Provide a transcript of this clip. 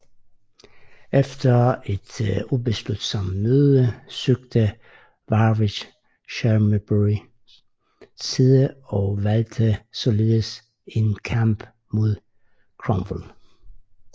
Efter et ubeslutsom møde søgte Warwick Shrewsburys side og valgte således en kamp mod Cromwell